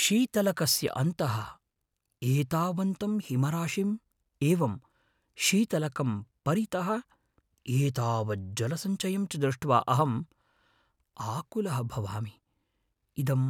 शीतलकस्य अन्तः एतावन्तं हिमराशिम् एवं शीतलकं परितः एतावज्जलसञ्चयं च दृष्ट्वा अहम् आकुलः भवामि; इदं